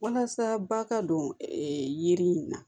Walasa ba ka don yiri in na